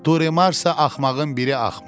Duremarsa axmağın biri axmaq.